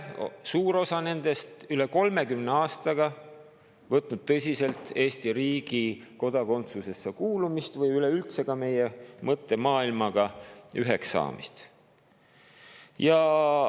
Suur osa nendest ei ole üle 30 aastaga võtnud tõsiselt Eesti kodakondsusesse kuulumist või üleüldse meie mõttemaailmaga üheks saamist.